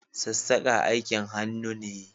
Sassaƙa aikin hannu ne